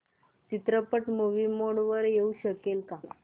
चित्रपट movie mode मध्ये येऊ शकेल का